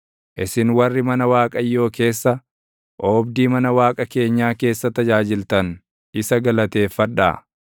Isin warri mana Waaqayyoo keessa, oobdii mana Waaqa keenyaa keessa tajaajiltan, isa galateeffadhaa.